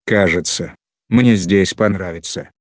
кажется мне здесь понравится